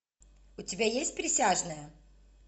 у тебя есть присяжные